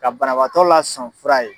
Ka banabatɔ la son fura ye.